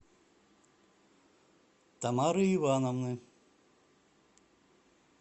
тамары ивановны